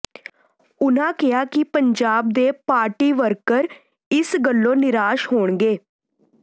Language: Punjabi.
ਉਨ੍ਹਾਂ ਕਿਹਾ ਕਿ ਪੰਜਾਬ ਦੇ ਪਾਰਟੀ ਵਰਕਰ ਇਸ ਗੱਲੋਂ ਨਿਰਾਸ਼ ਹੋਣਗੇ